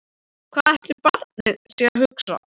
Hvað ætli barnið sé að hugsa?